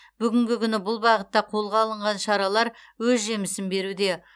бүгінгі күні бұл бағытта қолға алынған шаралар өз жемісін беруде